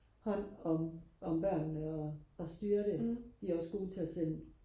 hånd om om børnene og og styre det de er også gode til og sende